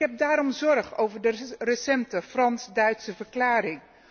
Ik heb daarom zorg over de recente Frans Duitse verklaring.